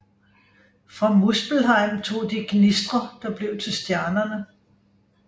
Fra Muspelheim tog de gnistrer der blev til stjernerne